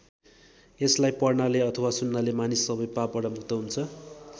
यसलाई पढ्नाले अथवा सुन्नाले मानिस सबै पापबाट मुक्त हुन्छ।